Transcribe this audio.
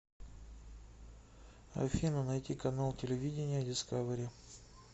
афина найти канал телевидения дискавери